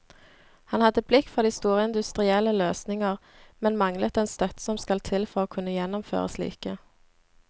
Han hadde blikk for de store industrielle løsninger, men manglet den støtte som skal til for å kunne gjennomføre slike.